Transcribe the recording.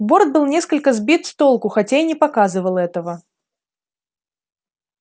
борт был несколько сбит с толку хотя и не показывал этого